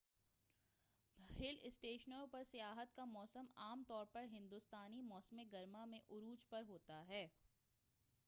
ہل اسٹیشنوں پر سیاحت کا موسم عام طور پر ہندوستانی موسم گرما میں عروج پر ہوتا ہے